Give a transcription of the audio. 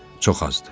Çox azdır.